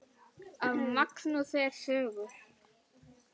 Af Magnúsi eru sögur